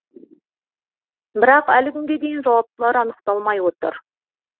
бірақ әлі күнге дейін жауаптылар анықталмай отыр